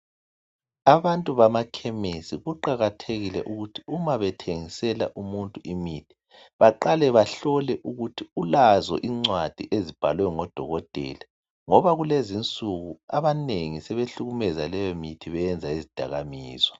Abantu bamakhemesi kuqakathekile ukuthi uma bethengisela umuntu imithi baqale bahlole ukuthi ulazo incwadi ezibhalwe ngodokotela ngoba kulezinsuku abanengi sebehlukumeza leyo mithi beyenza izidakamizwa.